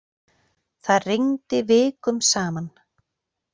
Það rigndi vikum saman.